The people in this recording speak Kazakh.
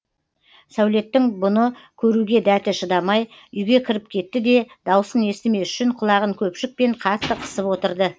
сәулеттің бұны көруге дәті шыдамай үйге кіріп кетті де даусын естімес үшін құлағын көпшікпен қатты қысып отырды